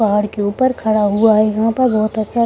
पहाड़ के ऊपर खड़ा हुआ है यहाँ पे बहुत अच्छा --